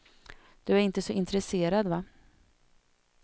Du är inte så intresserad va?